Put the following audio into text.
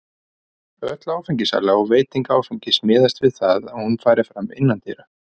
Öll áfengissala og veiting áfengis miðast við það að hún fari fram innandyra.